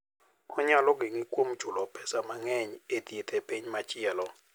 Onyalo geng'i kuom chulo pesa mang'eny e thieth e piny machielo.